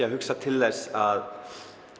að hugsa til þess að